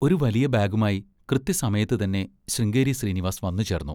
ഒരു വലിയ ബാഗുമായി കൃത്യസമയത്തുതന്നെ ശൃംഗേരി ശ്രീനിവാസ് വന്നുചേർന്നു.